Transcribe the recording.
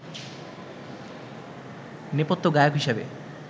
নেপথ্য গায়ক হিসেবে